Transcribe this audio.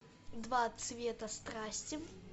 два цвета страсти